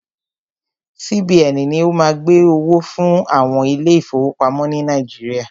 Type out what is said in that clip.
CBN ni o má ń gbẹ́ owó fún àwọn ilé ìfọwọ́pamo ni Nàíjíríà.